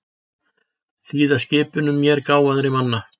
Hlýða skipunum mér gáfaðri manna.